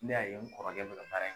Ne y'a ye n kɔrɔkɛ bɛ ka baara in kɛ.